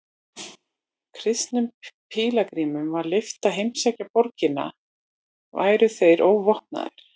Kristnum pílagrímum var leyft að heimsækja borgina væru þeir óvopnaðir.